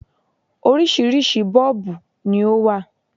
Oríṣiríṣi 'Bọ́ọ̀bù' ni ó wà